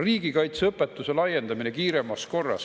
Riigikaitseõpetuse laiendamine kiiremas korras.